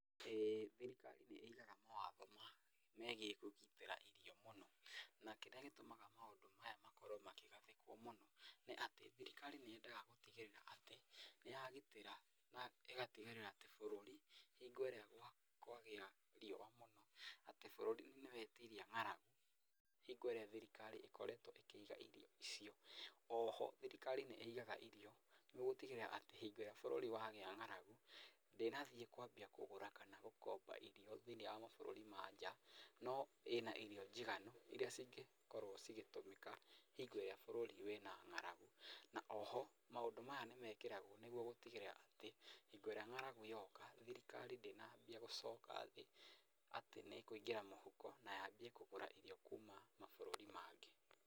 Ĩ thirikari nĩigaga mawatho ma megiĩ kũgitĩra irio mũno, na kĩrĩa gĩtũmaga maũndũ maya makorwo makĩgathĩkwo mũno nĩ atĩ thirikari nĩyendaga gũtigĩrĩra atĩ nĩyagitĩra na ĩgatigĩrĩra atĩ bũrũri hĩndĩ ĩrĩa kwagia riũa mũno atĩ bũrũri nĩwetiria ng'aragu hingo ĩrĩa thirikari ĩkoretwo ĩkĩiga irio icio, oho thirikari nĩ ĩgaga irio, nĩguo gũtigĩrĩra atĩ hingo ĩrĩa bũrũri wagĩa ng'aragu, ndínathiĩ kwambia kũgũra kana gũkomba irio thĩ-inĩ wa mabúrũri ma nja, no ĩna irio njiganu, iria cingĩkorwo cigĩtũmĩka hingo ĩrĩa búrũri wĩna ng'aragu, na oho, maũndũ maya nĩmekĩragwo nĩguo gũtigĩrĩra atĩ, hingo ĩrĩa ng'aragu yoka, thirikari ndĩnambia gũcoka thĩ atĩ nĩkũingĩra mũhuko na yambie kũgũra irio kuma mabũrũri mangĩ.